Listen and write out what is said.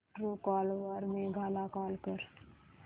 Truecaller वर मेघा ला call कर